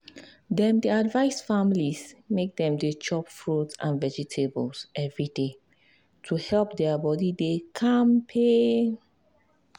dem dey advice families make dem dey chop fruit and vegetables every day to help their body dey kampe.